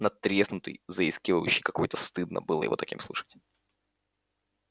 надтреснутый заискивающий какой-то стыдно было его таким слышать